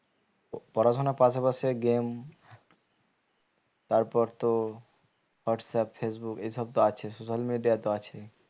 পড়াশোনার পাশাপাশি game তারপর তো হোয়াটসঅ্যাপ ফেসবুক এসব তো আছে social media তো আছে